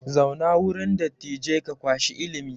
Zauna wurin dattijai ka kwashi ilimi!